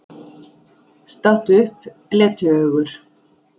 STATTU UPP, LETIHAUGUR!